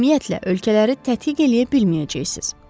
Ümumiyyətlə, ölkələri tədqiq eləyə bilməyəcəksiniz.